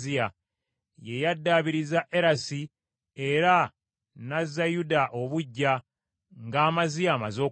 Ye yaddaabiriza Erasi era n’azza Yuda obuggya, nga Amaziya amaze okufa.